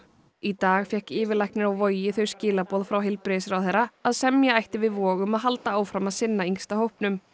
í dag fékk yfirlæknir á Vogi þau skilaboð frá heilbrigðisráðherra að semja ætti við Vog að halda áfram að sinna yngsta hópnum